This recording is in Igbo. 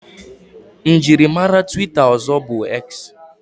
Mjiri mare twita ozo bu X